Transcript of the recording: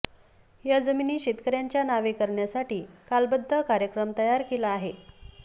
या जमिनी शेतकर्यांच्या नावे करण्यासाठी कालबद्ध कार्यक्रम तयार केला आहे